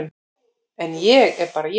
En ég er bara ég.